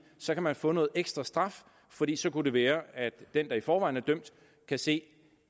så kan man få noget ekstra straf fordi så kunne det være at den der i forvejen er dømt kan se